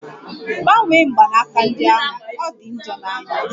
Gbanwe mgbanaka ndi ahụ! Ọ di njọ n'anya